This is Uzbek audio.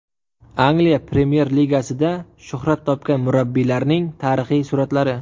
Angliya Premyer-Ligasida shuhrat topgan murabbiylarning tarixiy suratlari .